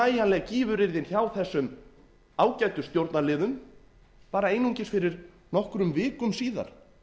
nægjanleg gífuryrðin hjá þessum ágætu stjórnarliðum bara einungis fyrir nokkrum vikum síðan